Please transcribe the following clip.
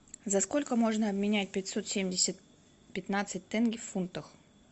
за сколько можно обменять пятьсот семьдесят пятнадцать тенге в фунтах